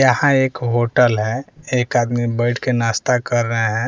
यहां एक होटल है एक आदमी बैठ के नाश्ता कर रहे हैं।